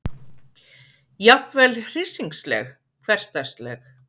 Jafnvel hryssingsleg, hversdagsleg.